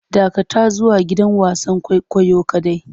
Dakatar zuwa gidan wasan kwaikwayo kadai!